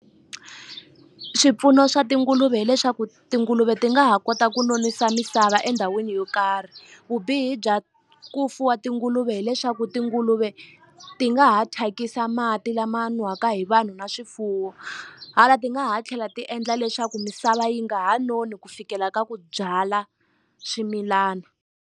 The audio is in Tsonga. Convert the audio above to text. Swipfuno swa tinguluve hileswaku tinguluve ti nga ha kota ku nonisa misava endhawini yo karhi vubihi bya ku fuwa tinguluve hileswaku tinguluve ti nga ha thyakisa mati lama nwaka hi vanhu na swifuwo hala ti nga ha tlhela ti endla leswaku misava yi nga ha noni ku fikela ka ku byala swimilana.